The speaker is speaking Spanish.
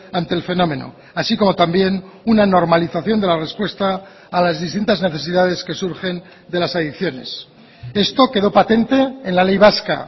ante el fenómeno así como también una normalización de la respuesta a las distintas necesidades que surgen de las adicciones esto quedó patente en la ley vasca